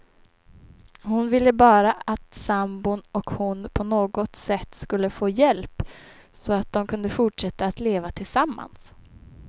Hon ville bara att sambon och hon på något sätt skulle få hjälp, så att de kunde fortsätta att leva tillsammans.